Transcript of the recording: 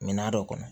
Minan dɔ kɔnɔ